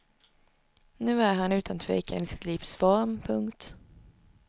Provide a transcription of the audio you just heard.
Nu är han utan tvekan i sitt livs form. punkt